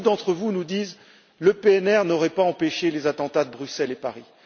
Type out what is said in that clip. Beaucoup d'entre vous nous disent que le PNR n'aurait pas empêché les attentats de Bruxelles et de Paris.